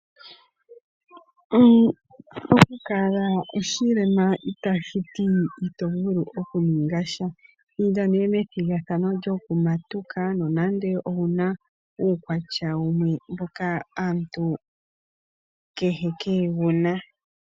Okukala oshilema itashiti ito vulu okuninga sha. Inda nee methigathano lyokumatuka, nonando owuna uukwatya wumwe mboka aantu kehe kaye wuna.